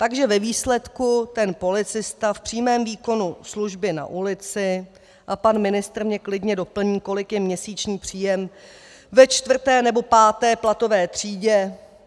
Takže ve výsledku ten policista v přímém výkonu služby na ulici - a pan ministr mě klidně doplní, kolik je měsíční příjem ve čtvrté nebo páté platové třídě...